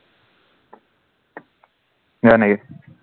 হয় নিকি?